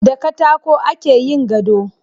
Da katako ake yin gado.